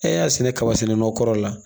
E y'a sɛnɛ kaba sɛnɛ nɔ kɔrɔ la